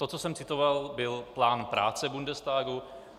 To, co jsem citoval, byl plán práce Bundestagu.